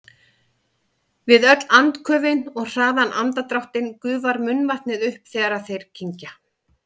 Við öll andköfin og hraðan andardráttinn gufar munnvatnið upp þegar þeir kyngja.